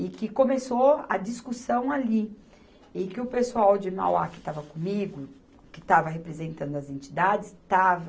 E que começou a discussão ali, e que o pessoal de Mauá que estava comigo, que estava representando as entidades, estava